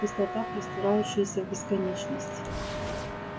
пустота простирающаяся в бесконечность